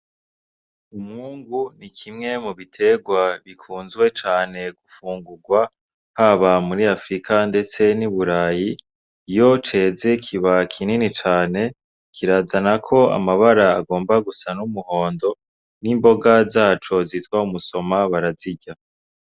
Umwungu ni kimwe mu biterwa bikunzwe cane mu gufungurwa, haba muri Africa ndetse n'i Burayi. Iyo ceze kiba kinini cane. Kirazanako amabara agomba gusa n'umuhondo, n'imboga zaco zitwa umusoma barazirya.